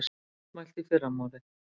Áfram mótmælt í fyrramálið